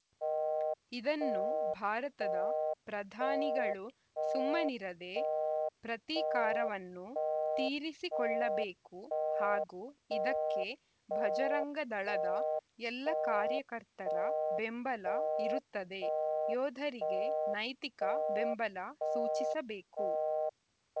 ಇದನ್ನು ಭಾರತದ ಪ್ರಧಾನಿಗಳು ಸುಮ್ಮನಿರದೇ ಪ್ರತೀಕಾರವನ್ನು ತೀರಿಸಿಕೊಳ್ಳಬೇಕು ಹಾಗೂ ಇದಕ್ಕೆ ಭಜರಂಗದಳದ ಎಲ್ಲ ಕಾರ್ಯಕರ್ತರ ಬೆಂಬಲ ಇರುತ್ತದೆ ಯೋಧರಿಗೆ ನೈತಿಕ ಬೆಂಬಲ ಸೂಚಿಸಬೇಕು